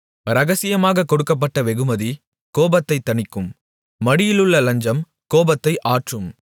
இரகசியமாக கொடுக்கப்பட்ட வெகுமதி கோபத்தைத் தணிக்கும் மடியிலுள்ள லஞ்சம் கோபத்தை ஆற்றும்